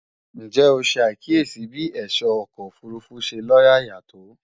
Ǹjẹ́ o ṣe àkíyèsí bí ẹ̀ṣọ́ ọkọ̀ òfurufú ṣe lóyàyà tó?